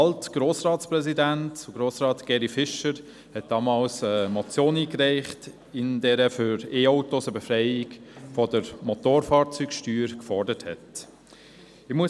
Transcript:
Alt-Grossratspräsident Geri Fischer hatte damals eine Motion eingereicht, in der er für e-Autos eine Befreiung von der Motorfahrzeugsteuer forderte .